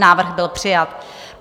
Návrh byl přijat.